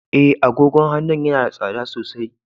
E, agogon hannun yana da tsada sosai.